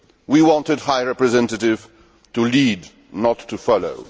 late. We want a High Representative to lead, not to